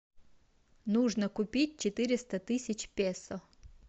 нужно купить четыреста тысяч песо